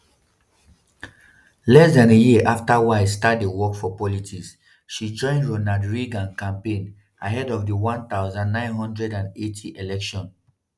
less dan a year afta wiles start dey work for politics she join ronald reagan campaign ahead of di1980 election.